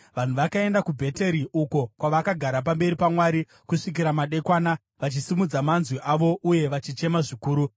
Vanhu vakaenda kuBheteri, uko kwavakagara pamberi paMwari kusvikira madekwana, vachisimudza manzwi avo uye vachichema zvikuru.